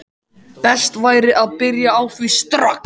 Best væri að byrja á því strax.